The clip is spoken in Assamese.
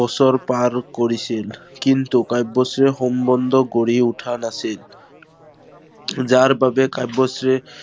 বছৰ পাৰ কৰিছিল। কিন্তু কাব্যশ্ৰীৰ সম্বন্ধ গঢ়ি উঠা নাছিল। যাৰ বাবে কাব্যশ্ৰীৰ